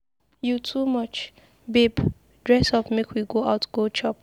You too much, babe dress up make we go out go chop.